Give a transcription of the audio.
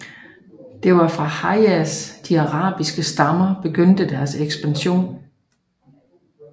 Det var fra Hejaz de arabiske stammer begyndte deres ekspansion